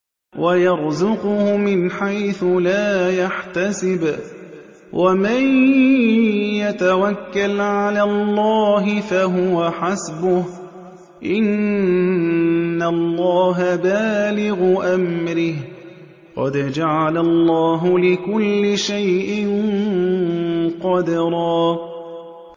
وَيَرْزُقْهُ مِنْ حَيْثُ لَا يَحْتَسِبُ ۚ وَمَن يَتَوَكَّلْ عَلَى اللَّهِ فَهُوَ حَسْبُهُ ۚ إِنَّ اللَّهَ بَالِغُ أَمْرِهِ ۚ قَدْ جَعَلَ اللَّهُ لِكُلِّ شَيْءٍ قَدْرًا